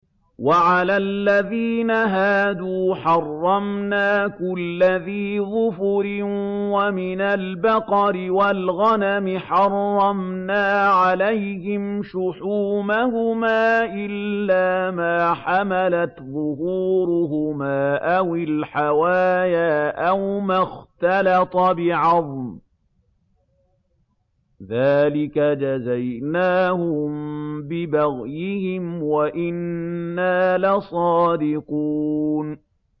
وَعَلَى الَّذِينَ هَادُوا حَرَّمْنَا كُلَّ ذِي ظُفُرٍ ۖ وَمِنَ الْبَقَرِ وَالْغَنَمِ حَرَّمْنَا عَلَيْهِمْ شُحُومَهُمَا إِلَّا مَا حَمَلَتْ ظُهُورُهُمَا أَوِ الْحَوَايَا أَوْ مَا اخْتَلَطَ بِعَظْمٍ ۚ ذَٰلِكَ جَزَيْنَاهُم بِبَغْيِهِمْ ۖ وَإِنَّا لَصَادِقُونَ